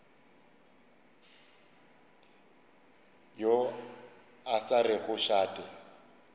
yo a sa rego šate